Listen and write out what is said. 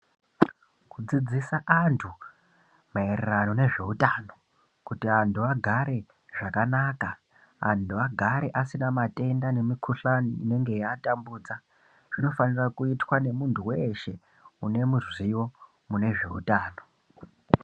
Kudzidzisa antu ,maererano nezveutano, kuti antu agare zvakanaka, antu agare asina matenda nemikhuhlani inenge yeiatambudza, zvinofanira kuitwa ngemuntu weeshe, une muzivo mune zveutano.